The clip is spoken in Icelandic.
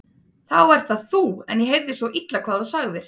Þá ert það þú en ég heyrði svo illa hvað þú sagðir.